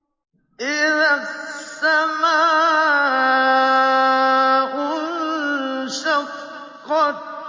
إِذَا السَّمَاءُ انشَقَّتْ